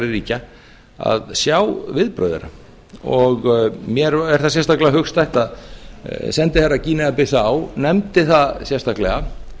ríkja að sjá viðbrögð þeirra mér er það sérstaklega hugstætt að sendiherra gínea bissá nefndi það sérstaklega